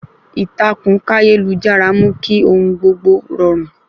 Ìtàkùn káyélujára mú kí ohun gbogbo rọrùn